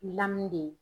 Lamini de ye